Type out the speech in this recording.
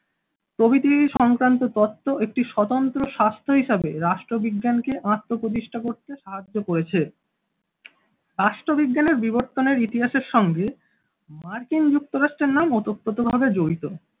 প্রভৃতি সংক্রান্ত তথ্য একটি স্বতন্ত্র স্বাস্থ্য হিসাবে রাষ্ট্রবিজ্ঞান কে আত্মপ্রতিষ্ঠা করতে সাহায্য করেছে রাষ্ট্রবিজ্ঞানের বিবর্তনের ইতিহাস এর সঙ্গে মার্কিন যুক্তরাষ্ট্রের নাম ওতপ্রোত ভাবে জড়িত।